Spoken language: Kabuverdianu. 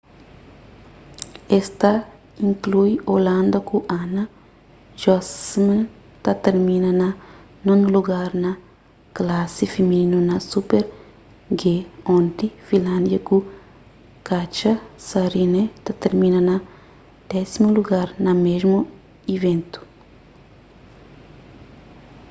es ta inklui hoianda ku anna jochemsen ta termina na nonu lugar na klasi fimininu na super-g onti finlándia ku katja saarinen ta termina na désimu lugar na mésmu iventu